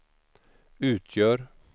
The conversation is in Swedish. utgör